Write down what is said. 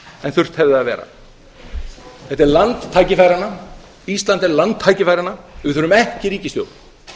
en þurft hefði að vera ísland er land tækifæranna við þurfum ekki ríkisstjórn